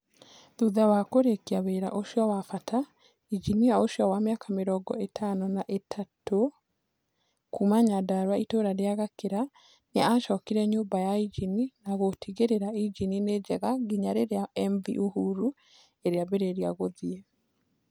Thutha wa kũrĩkia wĩra ũcio wa bata, njinia ũcio wa mĩaka mĩrongo ĩtano na ithatũ kuuma nyandrua itũũra rĩa Gakira , nĩ aacokire nyũmba ya injini na gũtigĩrĩra injini nĩ njega nginya rĩrĩa MV Uhuru ĩrĩambia gũthiĩ